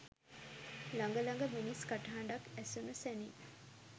ළඟ ළඟ මිනිස් කටහඬක් ඇහුනු සැනින්